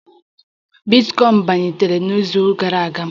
Ọnụ ọgụgụ bitcoin bilitere n'izu gara aga